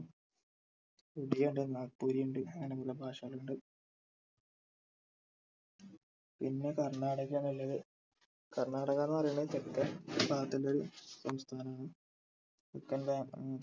നാഗ്‌പുരി ഇണ്ട് അങ്ങന പല ഭാഷകളിണ്ട് പിന്നെ കർണാടകയാണ് ഉള്ളത് കർണാടക എന്ന് പറയുന്നത് തെക്കൻ ഭാഗത്തുള്ള സംസ്ഥാനമാണ്. തെക്കൻ ബാ ഏർ